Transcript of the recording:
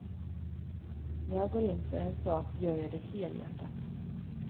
När jag går in för en sak gör jag det helhjärtat.